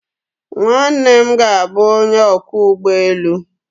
Nwanne m ga-abụ onye ọkwọ ụgbọ elu